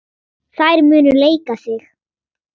Þær munu leika sig.